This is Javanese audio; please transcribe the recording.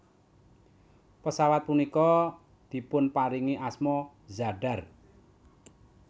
Pesawat punika dipunparingi asma Zadar